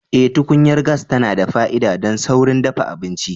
Eh, tukunyar gas tana da fa'ida don saurin dafa abinci.